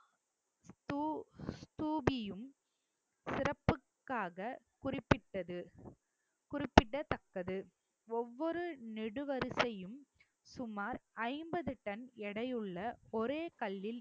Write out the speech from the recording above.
தூ~ ஸ்தூபியும் சிறப்புக்காக குறிப்பிட்டது குறிப்பிடத்தக்கது ஒவ்வொரு நெடு வரிசையும் சுமார் ஐம்பது டன் எடையுள்ள ஒரே கல்லில்